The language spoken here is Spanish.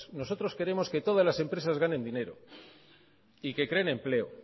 nosotros queremos que todas las empresas ganen dinero y que creen empleo